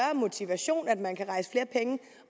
motivation at man kan rejse flere penge